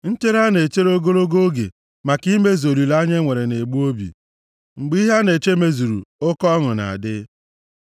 Nchere a na-echere ogologo oge maka imezu olileanya e nwere na-egbu obi, mgbe ihe a na-eche mezuru, oke ọṅụ na-adị.